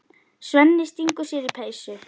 Svenni stingur sér í peysu.